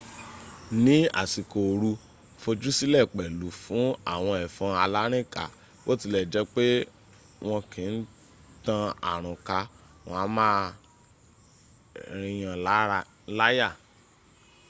ní àsìkò ooru fojúsílẹ̀ pẹ̀lú fún àwọn ẹ̀fọn alárìnká. bó tilẹ̀ jẹ́ pé wọ́n kì ń tan àrùn ká wọ́n a má a rìnyànláyà